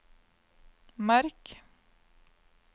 merk